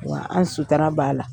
Wa an sutura b'a la.